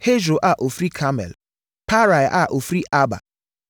Hesro a ɔfiri Karmel; Paarai a ɔfiri Arba;